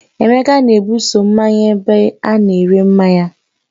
Emeka na-ebuso mmanya ebe ana-ere mmanya